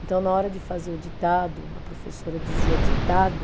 Então, na hora de fazer o ditado, a professora dizia, ditado,